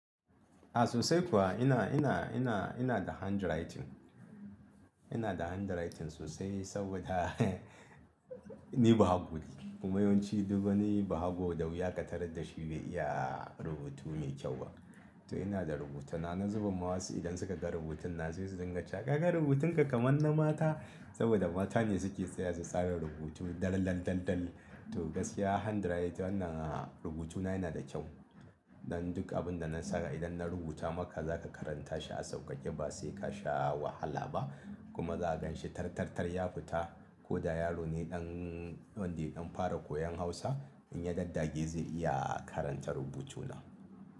A sosai kuwa ina, ina, ina, ina da handwriting. Ina da handwriting sosai saboda ni bahago ne kuma yawanci duk wani bahago da wuya ka tarar da shi bai iya rubutu mai kyau ba. To ina da rubutuna, na zuba masu idan suka ga rubutuna sai su dinga cewa 'ka ga rubutunka kamar na mata' saboda mata ne suke tsaya su tsara rubutu dar lallal lallal. To gaskiya handwriting wannan a rubutuna yana da kyau. Dan duk abin da na sanya idan na rubuta maka zaka karanta shi a sauƙaƙe ba sai ka sha wahala ba kuma za ganshi tartartar ya fita. Ko da yaro ne ɗan wanda ɗan fara koyon Hausa in ya dandage zai iya karanta rubucuna.